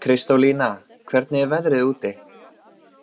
Kristólína, hvernig er veðrið úti?